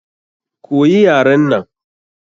Koyi yaren nan!